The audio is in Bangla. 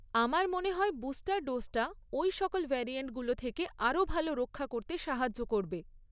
আমার মনে হয় বুস্টার ডোজটা ওই সকল ভ্যারিয়েন্টগুলো থেকে আরও ভালো রক্ষা করতে সাহায্য করবে।